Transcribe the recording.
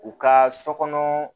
U ka so kɔnɔ